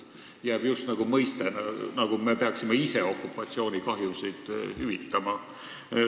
Jääb mulje, nagu me peaksime ise okupatsioonikahjusid hüvitama.